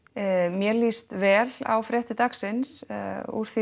mér líst vel á fréttir dagsins úr því